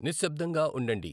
నిశ్సబ్దంగా ఉండండి